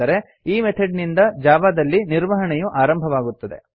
ಅಂದರೆ ಈ ಮೆಥಡ್ ನಿಂದ ಜಾವಾದಲ್ಲಿ ನಿರ್ವಹಣೆಯು ಆರಂಭವಾಗುತ್ತದೆ